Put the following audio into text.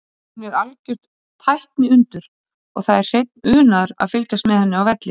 Hún er algjört tækniundur og það er hreinn unaður að fylgjast með henni á velli.